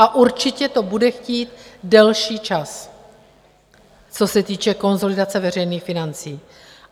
A určitě to bude chtít delší čas, co se týče konsolidace veřejných financí.